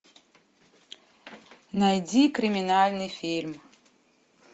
найди криминальный фильм